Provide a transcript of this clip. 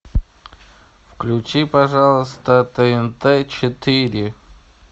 включи пожалуйста тнт четыре